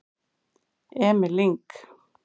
Emil Lyng